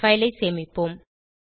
file ஐ சேமிப்போம்